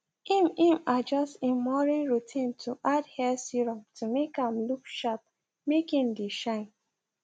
im im adjust im morning routine to add hair serum to make am look sharpmake im dae shine